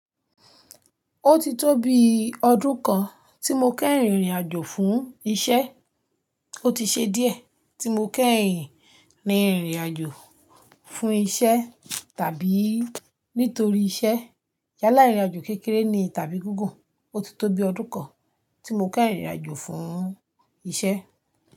Ó ti tó bi ọdún kan tí mo keyin rin ìrìn àjò fún iṣẹ́. Ó ti ṣe díẹ̀ tí mo kéyìn rin ìrìn àjò fún iṣẹ́ tàbí nítorí iṣẹ́. Yálà ìrìn àjò kékeré ni tàbí gígùn. Ó ti tó bi ọdún kan tí mo kẹ́rìnìn ìrìn àjò fún iṣẹ́.